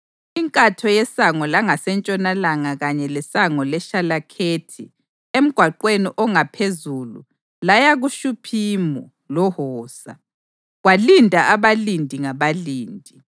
Inkatho yeSango langaseNtshonalanga kanye leSango leShalekhethi emgwaqweni ongaphezulu laya kuShuphimu loHosa. Kwalinda abalindi ngabalindi: